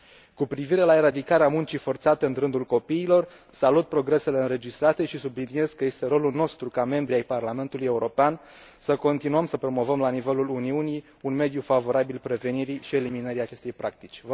Cu privire la eradicarea muncii forțate în rândul copiilor, salut progresele înregistrate și subliniez că este rolul nostru, ca deputați în Parlamentul European, să continuăm să promovăm la nivelul Uniunii un mediu favorabil prevenirii și eliminării acestei practici.